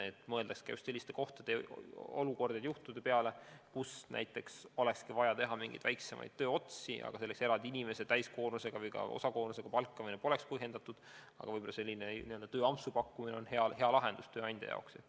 Et mõeldaks ka just selliste töökohtade peale, kus oleks vaja teha mingeid väiksemaid tööotsi, kus eraldi inimeste täiskoormusega või ka osakoormusega palkamine poleks põhjendatud, aga tööampsu pakkumine oleks hea lahendus tööandja jaoks.